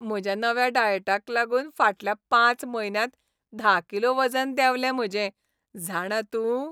म्हज्या नव्या डायटाक लागून फाटल्या पांच म्हयन्यांत धा किलो वजन देंवलें म्हजें, जाणा तूं.